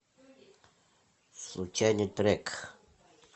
случайный трек